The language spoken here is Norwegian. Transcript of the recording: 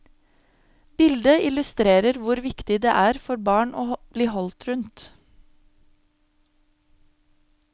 Bildet illustrerer hvor viktig det er for barn å bli holdt rundt.